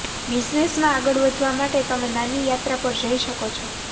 બિઝનેસમાં આગળ વધવા માટે તમે નાની યાત્રા પર જઈ શકો છો